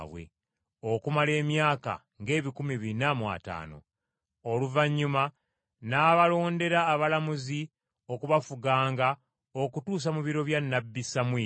okumala emyaka ng’ebikumi bina mu ataano. “Oluvannyuma n’abalondera abalamuzi okubafuganga okutuusa mu biro bya nnabbi Samwiri.